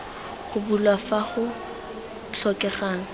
go bulwa fa go tlhokegang